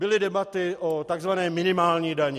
Byly debaty o tzv. minimální dani.